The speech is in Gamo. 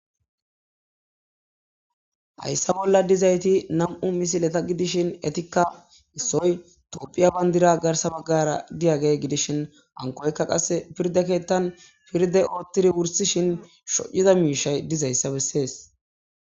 Hayssa bola dizzay nam'u misileta gidishin ettikka topiya bandira garsa bagara diyagey gidishin hankokka bagara qasse firdde keethan firde othidi wursishi shyizza mishay dizayssa besses.